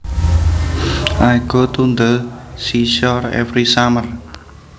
I go to the seashore every summer